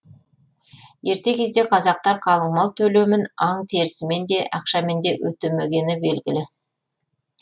ерте кезде қазақтар қалыңмал төлемін аң терісімен де ақшамен де өтемегені белгілі